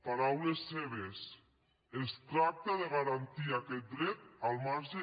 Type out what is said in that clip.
paraules seves es tracta de garantir aquest dret al marge